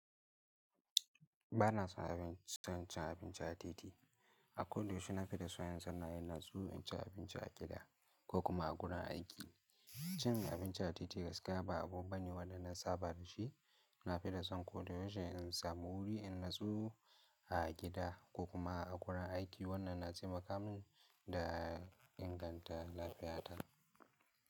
Ba na son cin abinci a titi. A ko da yaushe na fi son in zanna inaso n ci abinci a gida ko kuma a wurin aiki. Cin abinci a titi gaskiya ba abu bane waɗan na saba da shi. Na fi da son ko dayaushe in samu wuri in natsuu a gida ko kuma a gurin aiki wannan na taimaka min da inganta lafiyata.